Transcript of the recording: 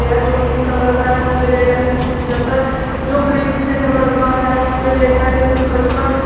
यह जो pink colour का है उसपे रेट है तीन सौ पचहत्तर जो ग्रीन से कलर का है उसपे रेट है तीन सौ पचपन।